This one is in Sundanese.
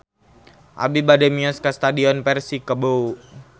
Abi bade mios ka Stadion Persikabo